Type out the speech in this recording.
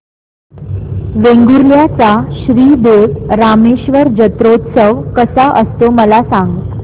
वेंगुर्ल्या चा श्री देव रामेश्वर जत्रौत्सव कसा असतो मला सांग